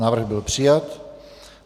Návrh byl přijat.